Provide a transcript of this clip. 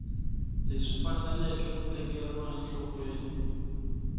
leswi faneleke ku tekeriwa enhlokweni